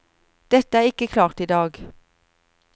Dette er ikke klart i dag.